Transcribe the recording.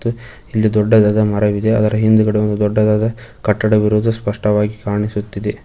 ಇಲ್ಲಿ ದೊಡ್ಡದಾದ ಮರವಿದೆ ಅದರ ಹಿಂದ್ಗಡೆ ಒಂದು ದೊಡ್ಡದಾದ ಕಟ್ಟಡವಿರುವುದು ಸ್ಪಷ್ಟವಾಗಿ ಕಾಣಿಸುತ್ತಿದೆ.